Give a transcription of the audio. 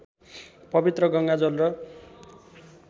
पवित्र गङ्गाजल र